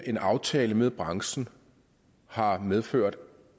en aftale med branchen har medført